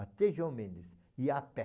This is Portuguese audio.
Até João Mendes, ia a pé.